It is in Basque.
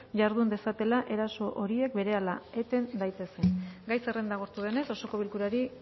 jardun dezatela eraso horiek berehala eten daitezen gai zerrenda agortu denez osoko bilkurari